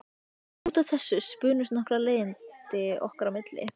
Út af þessu spunnust nokkur leiðindi okkar á milli.